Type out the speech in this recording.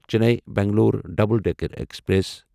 Chennai Bangalore double decker express